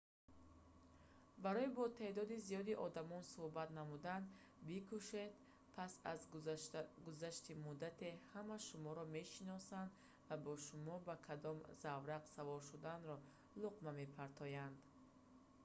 барои бо теъдоди зиёди одамон сӯҳбат намудан бикӯшед пас аз гузашти муддате ҳама шуморо мешиносанд ва ба шумо ба кадом заврақ савор шуданро луқма мепартоянд